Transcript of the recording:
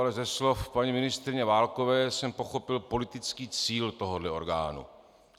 Ale ze slov paní ministryně Válkové jsem pochopil politický cíl tohohle orgánu.